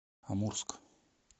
амурск